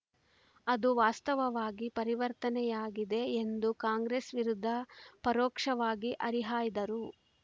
ಅದು ವಾಸ್ತವವಾಗಿ ಪರಿವರ್ತನೆಯಾಗಿದೆ ಎಂದು ಕಾಂಗ್ರೆಸ್‌ ವಿರುದ್ಧ ಪರೋಕ್ಷವಾಗಿ ಹರಿಹಾಯ್ದರು